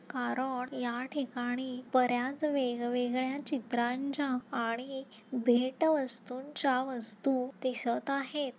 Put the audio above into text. कारण या ठिकाणी बर्‍याच वेग वेगळ्या चित्रांच्या आणि भेटवस्तूंच्या वस्तु दिसत आहेत.